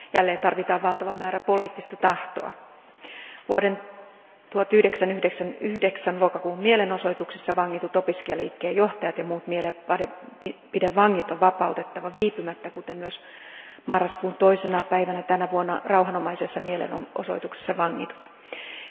Jälleen tarvitaan valtava määrä poliittista tahtoa. Vuoden 1999 lokakuun mielenosoituksissa vangitut opiskelijaliikkeen johtajat ja muut mielipidevangit on vapautettava viipymättä, kuten myös marraskuun toisena päivänä tänä vuonna rauhanomaisessa mielenosoituksessa vangitut henkilöt.